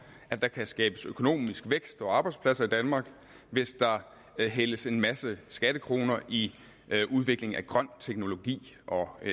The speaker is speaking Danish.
at der kan skabes økonomisk vækst og arbejdspladser i danmark hvis der hældes en masse skattekroner i udvikling af grøn teknologi og i